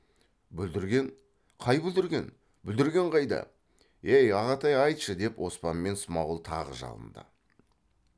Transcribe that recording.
бүлдірген қай бүлдірген бүлдірген қайда ей ағатай айтшы деп оспан мен смағұл тағы жалынды